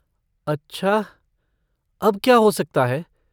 अच्छा, अब क्या हो सकता है?